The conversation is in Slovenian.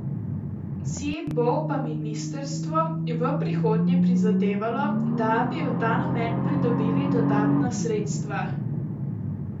Si bo pa ministrstvo v prihodnje prizadevalo, da bi v ta namen pridobili dodatna sredstva.